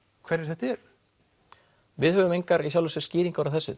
hverjir þetta eru við höfum engar skýringar á þessu